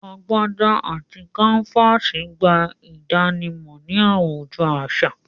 Agbádà àti kàǹfàsì n gbà ìdànímọ̀ ní awùjọ̀ aṣa